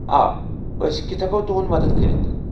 آ، أسۍ کتھہٕ ہٮ۪کو تُہنٛد مدتھ کٔرِتھ؟